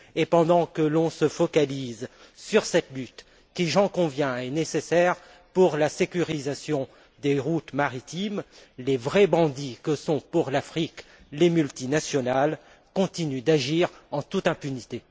Et pendant que l'on se focalise sur cette lutte qui, j'en conviens, est nécessaire pour la sécurisation des routes maritimes, les vrais bandits que sont pour l'Afrique les multinationales continuent d'agir en toute impunité.